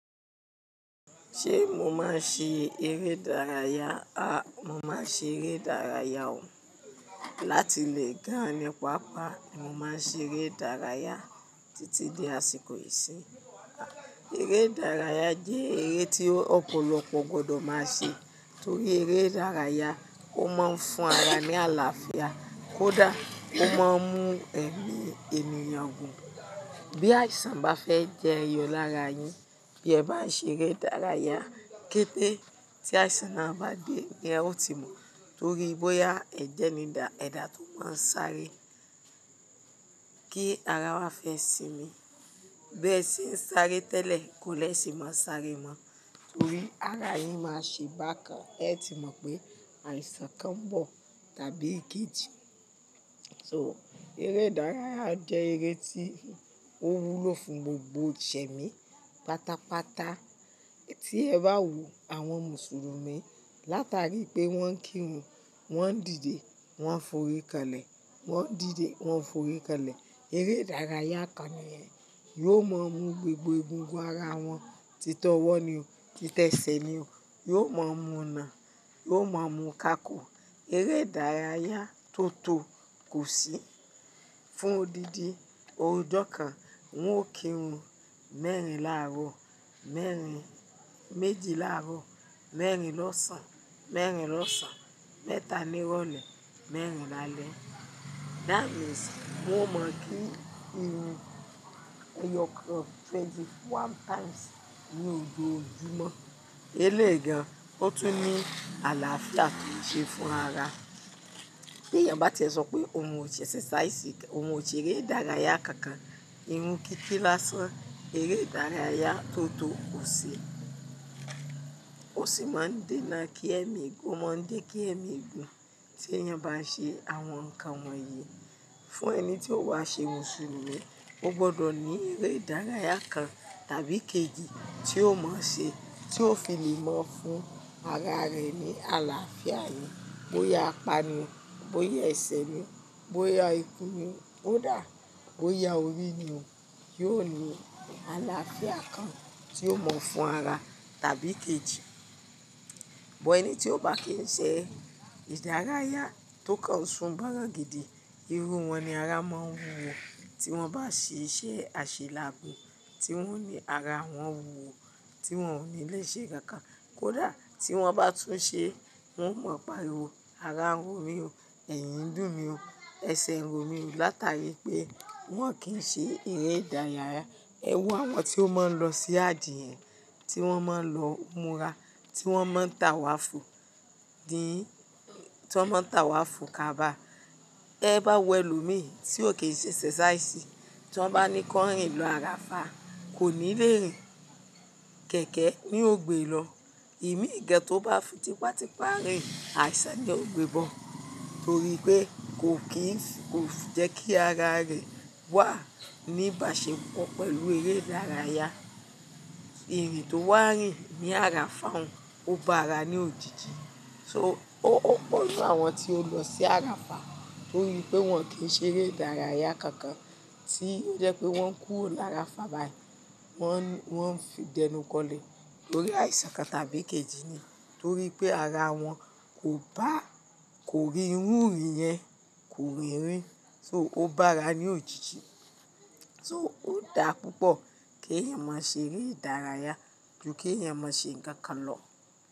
Ṣé mo máa ń ṣe eré ìdárayá? A, mo máa ń ṣe eré ìdárayá o. Láti lè ga ni pápá, mo máa ń ṣe eré ìdárayá títí di àsìkò ìsinmi. Eré ìdárayá jẹ́ eré tí ọ̀pọ̀lọpọ̀ gbọdọ̀ máa ṣe torí eré ìdárayá ó máa ń fún ara ní àlàáfíà, kódà ó máa ń mú ẹ̀mí ènìyàn gùn. Bí àìsàn bá fẹ́ jẹyọ lára yin, bí ẹ bá ṣe eré ìdárayá ketẹ́, tí àìsàn náà bá dé, ẹ ó ti mọ̀ torí bóyá ẹ̀jẹ̀ ni dà, ẹ̀dà tó máa ń sáré kí ara wa fẹ́ sinmi. Bẹ́ẹ̀ se ń sáré tẹ́lẹ̀ kó lè sì máa sáré mọ́ torí ara yin máa ṣe bákan ẹ ti mọ̀ pé àìsàn kan ń bọ̀ tàbí kejì. So eré ìdárayá jẹ́ eré tí ó wúlò fún gbogbo jẹ̀mí. Pátápátá tí ẹ bá wo àwọn Mùsùlùmí látàrí pé wọ́n ń kírun, wọ́n ń dìde, wọ́n ń forí kalẹ̀, wọ́n ń dìde, wọ́n ń forí kalẹ̀, eré ìdárayá kan ni ẹ́. Yóò mọ mú gbogbo egungun ara wọn, títọ́ ọwọ́ ni o, títẹ́ ẹsẹ̀ ni o, yóò mọ múù nà, yóò mọ mú kakò. Eré ìdárayá tó tó kò sí fún odidi oojọ́ kan. Wọn ò kírun mẹ́rin láàrọ̀, mẹ́rin méjì láàrọ̀, mẹ́rin lọ́sàn-án, mẹ́rin lọ́sàn-án, mẹ́ta ní ìrọ̀lẹ́, mẹ́rin lálẹ́. That means wọn mọ̀ kí irun ẹyọ kan twenty-one times ní ojoojumo Eléègan, ó tún ní àlàáfíà tó n ṣe fún ara. Bí èèyàn bá ti sọ pé òun ò ṣe exercise, òun ò ṣe eré ìdárayá kankan, irun kí kí lásán, eré ìdárayá tó tó kò ṣi, kò sì máa ń dé kí ẹ́mi gùn, máa ń dé kí ẹ́mi gùn. Tí èèyàn bá ṣe àwọn nǹkan wọ̀nyí, fún ẹni tí ó bá ṣe Mùsùlùmí, ó gbọdọ̀ ní eré ìdárayá kan tàbí kejì tí ó máa ń ṣe, tí ó fi le mọ̀ fún ara rẹ̀ ní àlàáfíà yìí. Bóyá apani, bóyá ẹsẹ ni, bóyá ikùn ni ó daà, bóyá orí ni o, yóò ní àlàáfíà kan tí ó mọ̀ fún ara tàbí kejì. Bọ́ ẹni tí ó bá kì ń ṣe ìdárayá tó kàn sun bọ́rọ̀ǹgìdì, irú wọn ni ara máa ń wun wọn. Tí wọ́n bá ṣe iṣẹ́ àṣelàábo, tí wọ́n ní ara wọn wúwo, tí wọ́n ò ní lè ṣe kankan kódà tí wọ́n bá tún ṣe, wọ́n ó mọ̀ pariwọ, ara ń ro mi o, ẹ̀yin ń dùn mí o, ẹsẹ̀ ń ro mi o látàrí pé wọ́n kì ń ṣe eré ìdárayá. Ẹ wo àwọn tí ó máa ń lọ sí Hajiyẹn, tí wọ́n máa ń lọ mura, tí wọ́n máa ń tàwà fò, dín, tí wọ́n máa ń tàwà fò kaba. Te bá wo ẹlòmíràn tí ò kí ń ṣe exercise, tí wọ́n bá ní kọ rìn lọ Arafah, kò ní lè rìn. Kẹ̀kẹ́ ni ó gbé lọ. Ìmí ìgẹ tó bá fi tipátipá rìn, àìsàn ni ó gbé bọ̀ torí pé kò kí ń fi, kò fi jẹ́ kí ara rẹ̀ wà ní ìbáṣepọ̀ pẹ̀lú eré ìdárayá. Irì tó wà rìn ní Arafah, ó bá ara ní òjijì. So ó pọ̀nú àwọn tí ó lọ sí Arafah torí pé wọ́n kì í ṣe eré ìdárayá kankan tí ó jẹ́ pé wọ́n kú ní Arafah báyìí. Wọ́n ń fi dẹnu kọlẹ̀ torí àìsàn kan tàbí kejì ni torí pé ara wọn kò bá, kò rí irú ìrìn yẹn, kò rìn rì. So ó bá ara ní òjijì. So ó dà púpọ̀ kí èèyàn má ṣe eré ìdárayá ju kí èèyàn má ṣe nǹkan lọ.